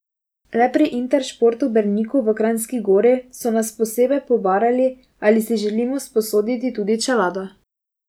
Le pri Intersportu Berniku v Kranjski Gori so nas posebej pobarali, ali si želimo sposoditi tudi čelado.